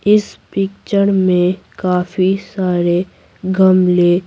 इस पिक्चर में काफी सारे गमले--